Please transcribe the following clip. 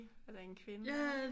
Er da en kvinde ikke